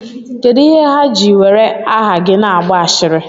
Kedụ ihe ha ji were aha gị na-agba ashịrị?